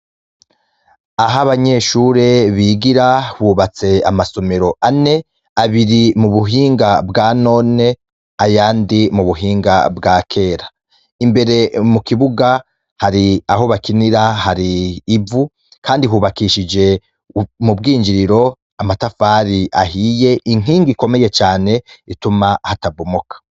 Aho abanyeshure bigira hubatse amasumiro ane abiri mu buhinga bwa none aya ndi mu buhinga bwa kera imbere mu kibuga hari aho bakinira hari ivu, kandi hubakishije mu bwinjiriro amatafari ahi iye inkinga ikomeye cane ituma hatabumuka.